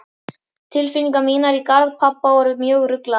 Tilfinningar mínar í garð pabba voru mjög ruglaðar.